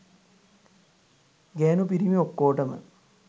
ගෑණු පිරිමි ඔක්කෝටම